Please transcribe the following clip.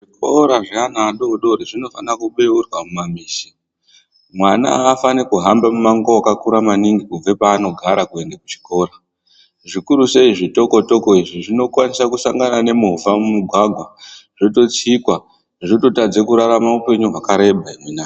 Zvikora zveana adodori zvinofana kubeurwa mumamisha. Mwana afanirwi kuhamba mumango wakakura maningi kubva paanogara kuenda kuchikora. Zvikurusei zvitoko toko izvi ,zvinokone kusangana nemovha mumugwagwa ,zvototsikwa. Zvototadze kurarama hipenyu hwakareba.